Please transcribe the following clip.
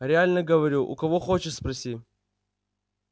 реально говорю у кого хочешь спроси